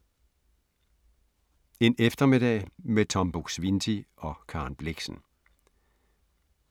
En eftermiddag med Tom Buk-Swienty og Karen Blixen